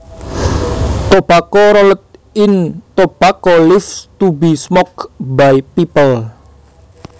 Tobacco rolled in tobacco leaves to be smoked by people